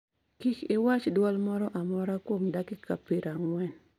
Kik iwach dwol moro amora kuom dakika 40.